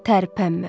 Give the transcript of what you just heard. Tərpənmə.